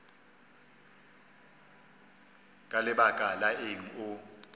ka lebaka la eng o